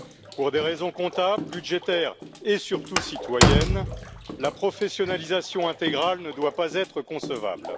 Pour des raisons comptables, budgétaires et surtout citoyennes, la professionnalisation intégrale ne doit pas être concevable.